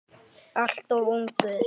Alltof ungur.